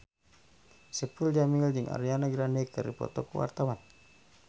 Saipul Jamil jeung Ariana Grande keur dipoto ku wartawan